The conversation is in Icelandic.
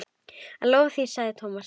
Ég lofa því sagði Thomas.